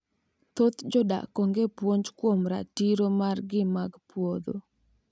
thoth jodak onge puonj kuom ratiro margi mag puodho